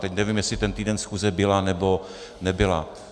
Teď nevím, jestli ten týden schůze byla, nebo nebyla.